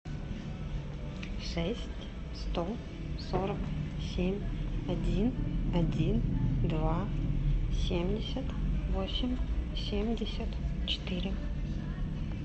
шесть сто сорок семь один один два семьдесят восемь семьдесят четыре